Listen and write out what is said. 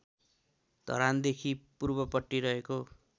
धरानदेखि पूर्वपट्टि रहेको